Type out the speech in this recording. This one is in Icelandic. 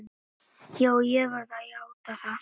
Já, ég verð að játa það.